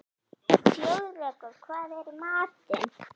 Þjóðrekur, hvað er í matinn?